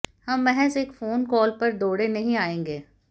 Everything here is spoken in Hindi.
हम महज एक फोन कॉल पर दौड़े नहीं आयेंगे